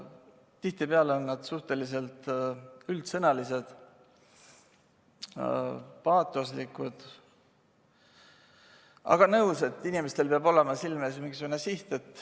Tihtipeale on nad suhteliselt üldsõnalised, paatoslikud, aga olen nõus, et inimestel peab olema silme ees mingisugune siht.